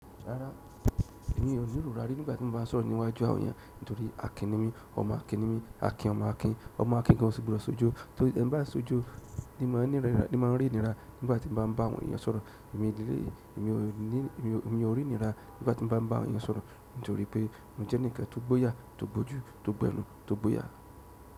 Rárá, èmi ò ní ròrá rárá nígbà tí mo bá ń sọ̀rọ̀ níwájú àwọn ènìyàn nítorí Akin ní mi, ọmọ Akin ní mi, Akin ọmọ Akin, ọmọ Akin gan ṣùgbọ́n sojo nítorí tí ẹ̀ ń bá sojo ní máa ní rí, ní máa rí ìnira nígbà tí mo bá ń bá àwọn ènìyàn sọ̀rọ̀. Emi o ri inira nígbà ti n ba n ba àwọn ènìyàn sọ̀rọ̀ nítorí pe mo je enikan to gboya, to gboju to gbo ẹnu to gboya.